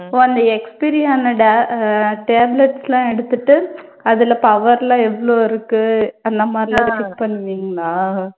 ஓ அந்த expiry ஆன da_ அஹ் tablets எல்லாம் எடுத்திட்டு அதுல power எல்லாம் எவ்ளோ இருக்கு அந்த மாதிரியெல்லாம் நீங்க check பண்ணுவீங்களா